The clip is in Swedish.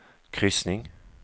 kryssning